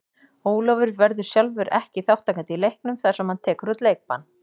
Ólafur verður sjálfur ekki þátttakandi í leiknum þar sem hann tekur út leikbann.